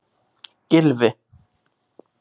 Gylfi